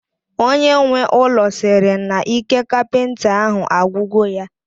Onye nwe ụlọ sịrị na ike kapịnta ahụ agwugo ya